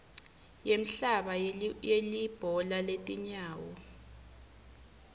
yemhlaba yelibhola letinyawo